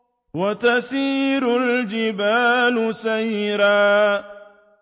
وَتَسِيرُ الْجِبَالُ سَيْرًا